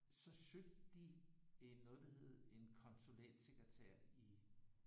Så søgte de en noget der hed en konsulentsekretær i